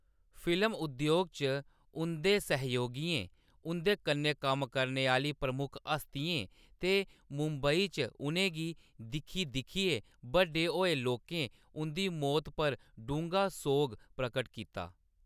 Film उद्योग च उंʼदे सैहयोगियें, उंʼदे कन्नै कम्म करने आह्‌‌‌ली प्रमुख हस्तियें ते मुंबई च उʼनें गी दिक्खी-दिक्खियै बड्डे होए लोकें उंʼदी मौत पर डूंह्‌गा सोग प्रकट कीता।